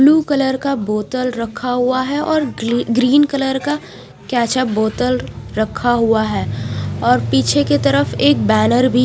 Blue colour का बोतल रखा हुआ है और ग्री ग्रीन कलर का कैचप बोतल रखा हुआ है और पीछे की तरफ एक बैनर भी।